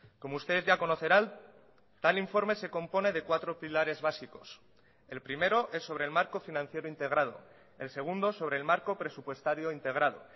como ustedes ya conocerán tal informe se compone de cuatro pilares básicos el primero es sobre el marco financiero integrado el segundo sobre el marco presupuestario integrado